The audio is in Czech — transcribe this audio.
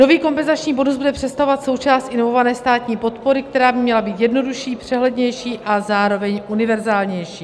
Nový kompenzační bonus bude představovat součást inovované státní podpory, která by měla být jednodušší, přehlednější a zároveň univerzálnější.